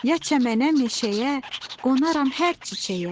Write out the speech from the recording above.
Ya çəmənə, meşəyə, qonaram hər çiçəyə.